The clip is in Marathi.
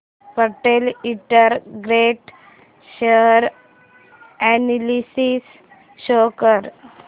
Patel integrate share analysis show कर